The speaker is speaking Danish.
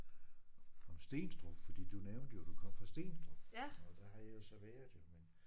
Om Stenstrup fordi du nævnte jo du kom fra Stenstrup og der har jeg jo så været jo men